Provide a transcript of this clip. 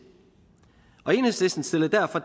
enhedslisten stillede derfor